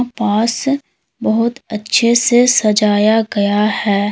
पास बहुत अच्छे से सजाया गया है।